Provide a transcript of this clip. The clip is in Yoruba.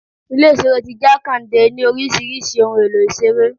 Ilé ìṣeré ti Jakande ní oríṣiríṣi ohun èlò ere.